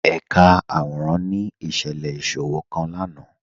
Ẹ̀kà àwọ̀ràn ni iṣẹ̀lẹ̀ iṣòwọ̀̀ kan lánà